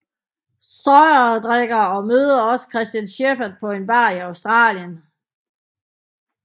Sawyer drikker og møder også Christian Shephard på en bar i Australien